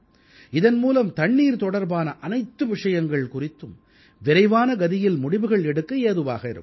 இதன் மூலம் தண்ணீர் தொடர்பான அனைத்து விஷயங்கள் குறித்தும் விரைவான கதியில் முடிவுகள் எடுக்க ஏதுவாக இருக்கும்